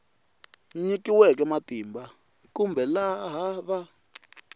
nyikiweke matimba kumbe laha va